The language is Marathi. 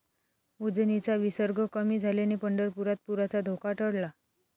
उजनीचा विसर्ग कमी झाल्याने पंढरपुरात पुराचा धोका टळला